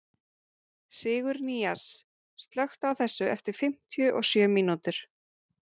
Sigurnýas, slökktu á þessu eftir fimmtíu og sjö mínútur.